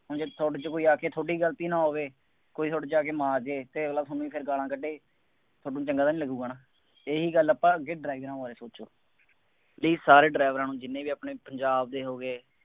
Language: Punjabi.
ਹੁਣ ਜੇ ਤੁਹਾਡੇ ਚ ਕੋਈ ਆ ਕੇ ਤੁਹਾਡੀ ਗਲਤੀ ਨਾ ਹੋਵੇ, ਕੋਈ ਤੁਹਾਡੇ ਚ ਆ ਕੇ ਮਾਰ ਜਾਏ ਅਤੇ ਅਗਲਾ ਤੁਹਾਨੂੰ ਫੇਰ ਗਾਲਾਂ ਕੱਢੇ, ਤੁਹਾਨੂੰ ਚੰਗਾ ਤਾਂ ਨਹੀਂ ਲੱਗੂਗਾ ਨਾ, ਇਹੀ ਗੱਲ ਆਪਾਂ ਅੱਗੇ ਡਰਾਈਰਾਂ ਬਾਰੇ ਸੋਚਣੀ ਹੈ। ਬਈ ਸਾਰੇ ਡਰਾਈਵਰਾਂ ਨੂੰ ਜਿੰਨੇ ਵੀ ਆਪਣੇ ਪੰਜਾਬ ਦੇ ਹੋ ਗਏ,